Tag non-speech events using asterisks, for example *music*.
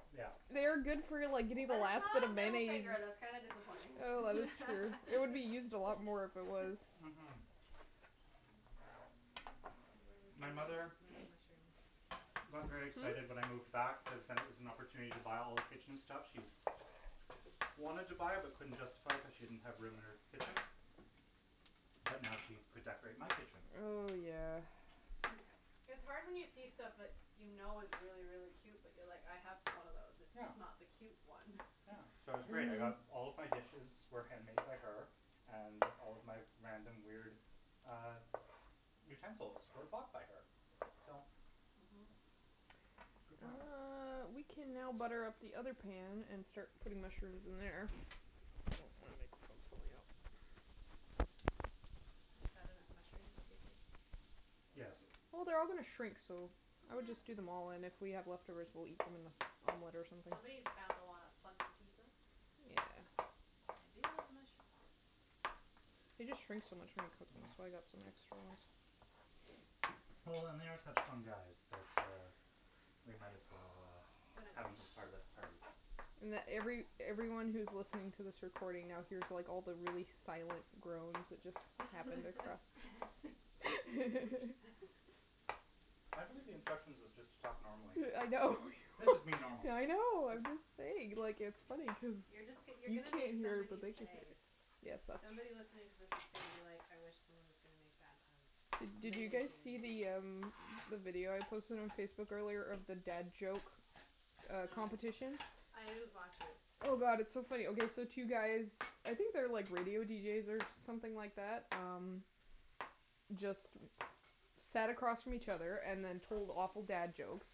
*inaudible* Yeah. They are good for, like, getting the But it's last bit not of a middle mayonnaise. finger. That's kinda disappointing. Oh, that is true. It would be used a lot more if it *laughs* *laughs* was. Mm- hm. What do we *noise* do with My this mother amount of mushroom? got very excited when I Hmm? moved back cuz then it was an opportunity to buy all the kitchen stuff she wanted to buy but couldn't justify it cuz she didn't have room in her kitchen. But now she could decorate my kitchen. Oh, yeah. It's hard when you see stuff that you know is really, really cute but you're like, "I have one of those, it's just not the cute one." Uh, so it was great. I got all of my dishes were hand made by her. And all of my random, weird uh utensils were bought by her. So, Mm- hm. it was good planning. Uh, we can now butter up the pan and start putting mushrooms in there. Oh, my microphone's falling out. Is that enough mushrooms, do you think? Yes. Well, they're all going to shrink, so I would just do them all. And if we have leftovers, we'll eat them on a on bread or something. Somebody is bound to wanna fungi pizza. Yeah. I do like mushrooms. They just shrink so much when they cook. That's *noise* why I've got some extra ones. Well, they are such fun guys that uh we might as well uh But uh have them as part of the party. And every everyone who's listening to this recording now here's like all the really silent groans that just happened. *laughs* *laughs* I believe the instructions was just to talk normally. Yeah I know. This is me normal. I know, I'm just saying. Like, it's funny cuz You're just you're you going to make can't hear it but somebody's they can hear day. it. Yes, that's Somebody true. listening to this is going to be like, "I wish someone is gonna make bad puns," and Did then you they guys see the *inaudible* um the video I posted on Facebook earlier of the dad joke uh No. competition? No. I didn't watch it. Oh, god, it's so funny. Okay, so two guys, I think they're like radio deejays or something like that. Um, just sat across from each other and then told awful dad jokes